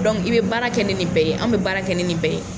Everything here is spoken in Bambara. i bɛ baara kɛ ni nin bɛɛ ye an bɛ baara kɛ ni nin bɛɛ ye.